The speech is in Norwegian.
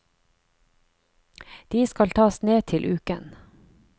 De skal tas ned til uken.